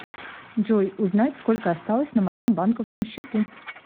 джой узнать сколько осталось на моем банковском счету